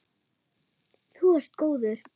Þú ert góður.